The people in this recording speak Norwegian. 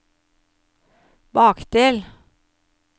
bakdel